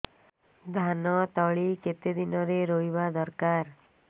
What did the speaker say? ଧାନ ତଳି କେତେ ଦିନରେ ରୋଈବା ଦରକାର